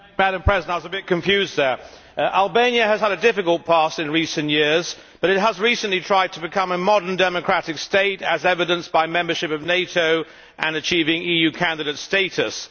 Madam President, Albania has had a difficult past in recent years but it has recently tried to become a modern, democratic state, as evidenced by membership of NATO and achieving EU candidate status.